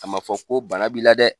A ma fɔ ko bana b'i la dɛ